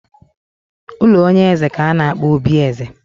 Ụlọ onye eze ka a na-akpọ obi eze